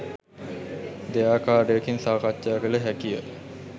දෙයාකාරයකින් සාකච්ඡා කළ හැකිය.